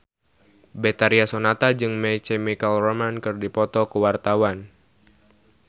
Betharia Sonata jeung My Chemical Romance keur dipoto ku wartawan